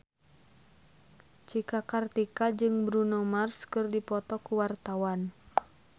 Cika Kartika jeung Bruno Mars keur dipoto ku wartawan